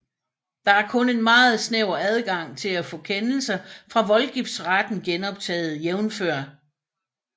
Der er kun en meget snæver adgang til at få kendelser fra voldgiftsretten genoptaget jf